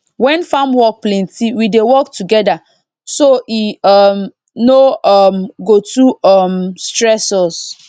when farm work plenty we dey work together so e um no um go too um stress us